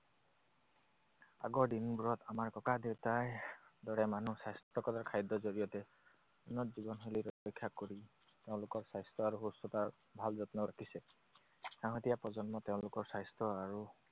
আগৰ দিনবোৰত আমাৰ ককা দেউতাৰ দৰে মানুহ স্বাস্থ্যকৰ খাদ্যৰ জৰিয়তে উন্নত জীৱনশৈলী ৰক্ষা কৰি তেওঁলোকৰ স্বাস্থ্য আৰু সুস্থতাৰ ভাল যত্ন ৰাখিছে। শেষতীয়া প্ৰজন্ম তেওঁলোকৰ স্বাস্থ্য আৰু